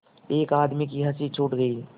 एक आदमी की हँसी छूट गई